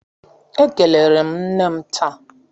Ekelere m nne m taa.